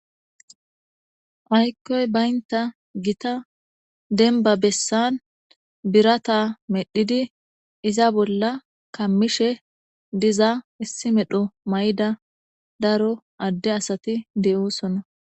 ayikkoy baynta gita denba bessan birata medhidi iza bolla kammishe diza issi medho mayida daro adde asati de'oosona